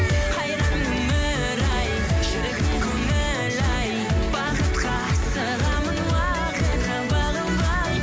қайран өмір ай шіркін көңіл ай бақытқа асығамын уақытқа бағынбай